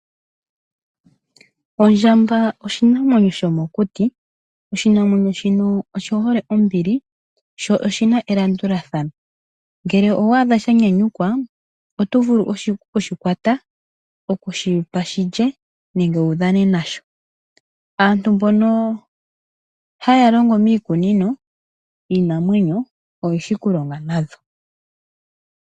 Ondjamba oshinamwenyo shomokuti. Oshinamwenyo oshihole ombili noshihole elandulathano . Ngele waadha shanyanyukwa oto vulu okushikwata, okudhipa shilye nenge wudhane nasho. Aantu mbono haya longo miikununo yiinamwenyo oyeshi okulonga nadho.